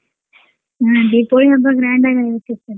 ಹಾ ದೀಪಾವಳಿ ಹಬ್ಬ grand ಆಗ್ ಆಗತ್ತೆ sir .